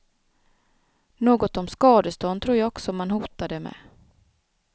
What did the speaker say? Något om skadestånd tror jag också man hotade med.